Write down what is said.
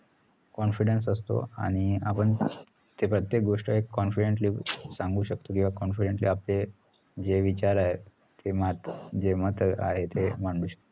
confidence असतो आणि आपण प्रत्येक गोष्ट एक confidently सांगु शकतो confidently आपले जे विचार आहे जे मात जे मत आहे ते मांडू शकतो